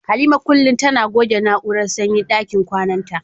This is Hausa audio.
Halima kullum tana goge na'urar sanyin dakin kwananta.